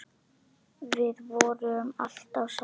Við vorum alltaf saman.